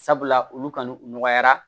Sabula olu kan n'u nɔgɔyara